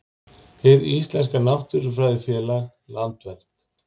Hið Íslenska náttúrufræðifélag, Landvernd.